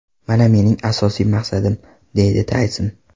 Mana mening asosiy maqsadim”, deydi Tayson.